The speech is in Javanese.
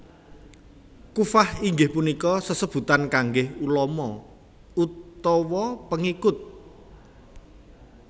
Kuffah inggih punika sesebutan kangge ulama utawa pengikut